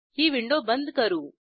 ही window बंद करू